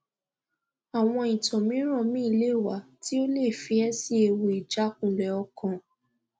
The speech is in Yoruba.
awon itan miran mi le wa ti o le fi e si ewu ijakunle okan